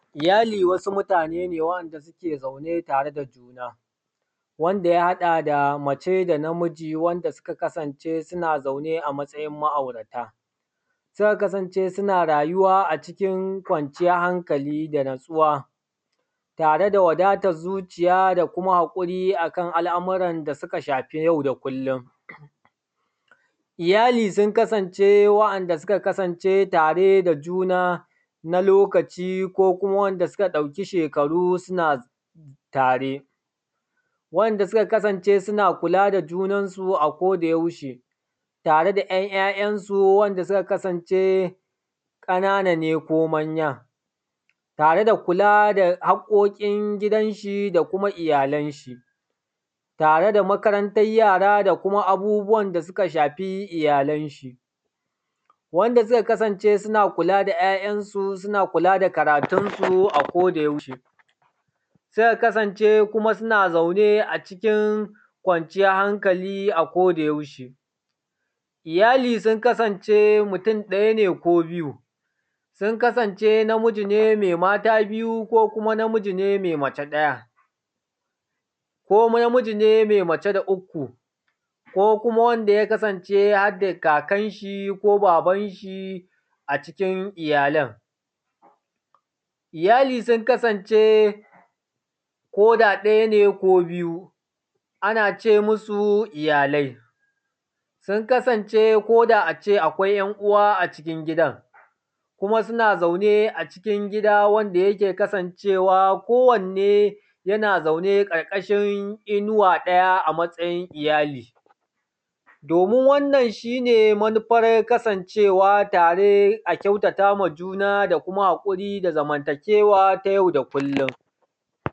Iyali wasu mutane ne wa’anda suke zaune tare da juna. Wanda ya haɗa da mace da namiji wanda suka kasance suna zaune a matsayin ma’aurata, suka kasance suna rayuwa acikin kwanciyan hakali da natsuwa tareda wadatan zuci da kuma haƙuri akan abubuwan da suka shafi yau da kullum. Iyali sun kasance wa’anda suka kasance tare da juna lokaci ko kuma wa’anda suka ɗauki shekarau suna tare, wanda suka kasance suna kula da junanasu a akoda yaushe tareda ‘yan’ ‘ya’ ‘yan’ su ƙanana ko manya tareda kula da haƙoƙin gidanshi da kuma iyyalanshi. Tareda makarantan yara da kuma abunda ya shafi iyyalanshi, wanda suka kasance suna kula da ‘ya’ ‘yan’ su da kuma karatunsu a koda yaushe, suka kasance kuma suna zaune a cikin kwanciyan hankali a koda yaushe. Iyyali sun kasance mutun ɗaya ne ko biyu? Sun kasance mai mata biyu ne ko mai mace ɗaya? Ko namiji ne mai mace uku? Ko sum kasance hadda kakanshi ko babanshi a cikin iyyalan? Iyyali sun kasance koda ɗaya ne ko biyu anace musu iyyalai. Sun kasance koda ace akwai ‘yan’ uwa a cikin gidan kuma suna zaune a cikin gida wanda yake kasancewa kowanne yana zaune ƙarƙashin innuwa ɗaya a matsayin iyyali. Domin wannan shi manufar kasan cewa tare a kyautatama juna da kuma haƙuri da zamanta kewa ta yau da kullum.